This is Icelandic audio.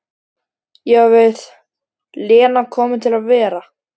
Ég á við, Lena komin til að vera?